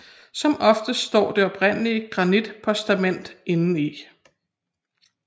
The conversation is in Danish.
Som oftest står det oprindelige granitpostament indeni